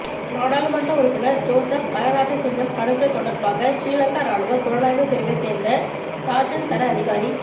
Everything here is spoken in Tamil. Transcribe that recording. நாடாளுமன்ற உறுப்பினர் ஜோசப் பரராஜசிங்கம் படுகொலை தொடர்பாக சிறிலங்கா இராணுவப் புலனாய்வுப் பிரிவைச் சேர்ந்த சார்ஜன்ட் தர அதிகாரி